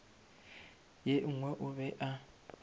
ye nngwe o be a